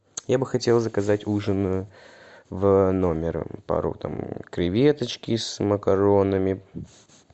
я бы хотел заказать ужин в номер пару там креветочки с макаронами